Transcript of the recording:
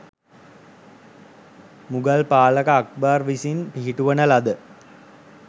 මුගල් පාලක අක්බර් විසින් පිහිටුවන ලද